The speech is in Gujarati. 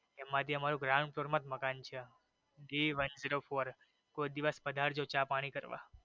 એમાં જે અમારું ground floor માં જ મકાન છે gone zero four કોઈ દિવસ પધારજો ચા પાણી કરવા.